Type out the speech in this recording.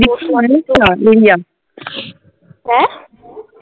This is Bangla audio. হ্যাঁ?